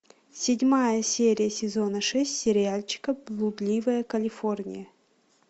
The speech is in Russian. седьмая серия сезона шесть сериальчика блудливая калифорния